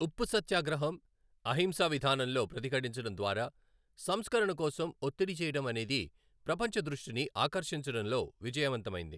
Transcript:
ఉప్పు సత్యాగ్రహం , అహింసా విధానంలో ప్రతిఘటించడం ద్వారా సంస్కరణ కోసం ఒత్తిడి చేయడం అనేది ప్రపంచ దృష్టిని ఆకర్షించడంలో విజయవంతమైంది.